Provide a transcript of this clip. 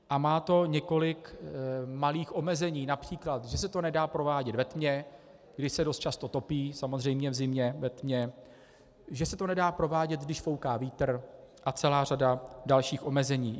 A má to několik malých omezení, například že se to nedá provádět ve tmě, kdy se dost často topí, samozřejmě v zimě ve tmě, že se to nedá provádět, když fouká vítr, a celá řada dalších omezení.